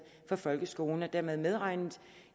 for folkeskolen og er dermed medregnet